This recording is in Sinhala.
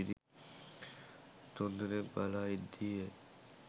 තුන්දෙනෙක්‌ බලා ඉද්දීය.